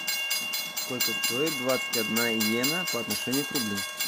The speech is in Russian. сколько стоит двадцать одна йена по отношению к рублю